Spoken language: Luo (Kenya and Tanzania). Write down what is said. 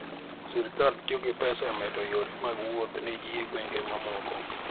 sirikal tiyo gi pesa e medo yore mag wuoth ne ji e gwenge mamoko.